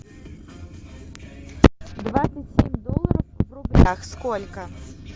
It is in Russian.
двадцать семь долларов в рублях сколько